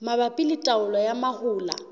mabapi le taolo ya mahola